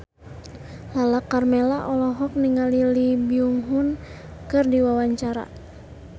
Lala Karmela olohok ningali Lee Byung Hun keur diwawancara